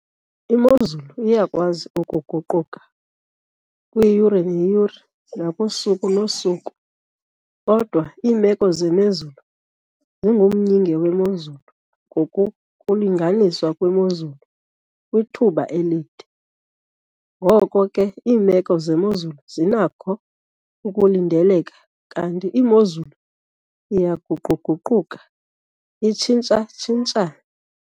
Imozulu iyakwazi ukuguquka kwiyure neyure nakusuku nosuku, kodwa iimeko zemozulu zingumyinge wemozulu ngokokulinganiswa kwemozulu kwithuba elide. Ngoko ke, iimeko zemozulu zinakho ukulindeleka, kanti imozulu iyaguqu-guquka itshintsha-tshintshe.